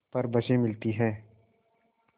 पर बसें मिलती हैं